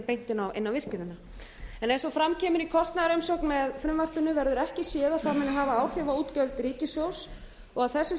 beint inn á virkjunina eins og fram kemur í kostnaðarumsögn með frumvarpinu verður ekki séð að það muni hafa áhrif á útgjöld ríkissjóðs að þessu